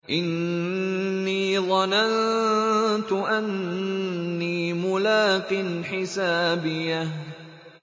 إِنِّي ظَنَنتُ أَنِّي مُلَاقٍ حِسَابِيَهْ